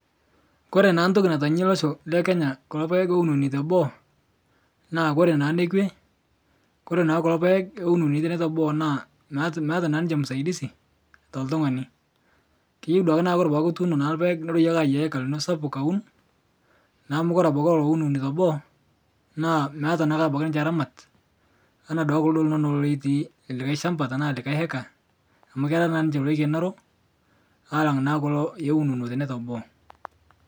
Kore naa ntoki natanyie losho lekenya kuloo payeng louniuni toboo naa kore naa naa nekwee, kore naa kuloo payeng louniuni tene toboo naa meata naa ninche musaidisi totung'ani, keyeu duake nakuu kore pataa ituuno naa lpayeng nuroyei naa ayiaya heka lino sapuk hawun naa kore abaki lolo owun toboo naa meata abaki ninche ramat anaa duake kuloo linonoo lotii lekai shambaa tanaa likai hekaa amuu kera naa ninche loikenoro alang naa kulo owuniuni tenee toboo.